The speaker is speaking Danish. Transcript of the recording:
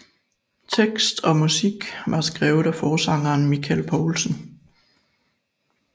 Tekst og musik var skrevet af forsangeren Michael Poulsen